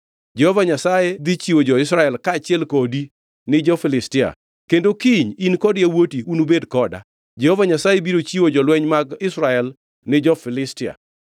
Jehova Nyasaye dhi chiwo jo-Israel kaachiel kodi ni jo-Filistia, kendo kiny in kod yawuoti unubed koda. Jehova Nyasaye biro chiwo jolweny mag Israel ni jo-Filistia.”